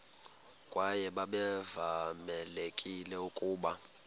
kwaye babevamelekile ukuba